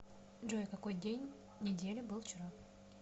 джой какой день недели был вчера